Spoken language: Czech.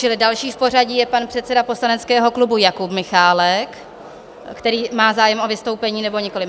Čili další v pořadí je pan předseda poslaneckého klubu Jakub Michálek - který má zájem o vystoupení, nebo nikoliv?